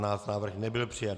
Návrh nebyl přijat.